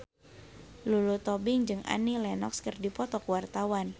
Lulu Tobing jeung Annie Lenox keur dipoto ku wartawan